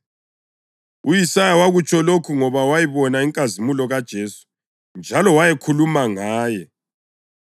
U-Isaya wakutsho lokhu ngoba wayibona inkazimulo kaJesu njalo wayekhuluma ngaye.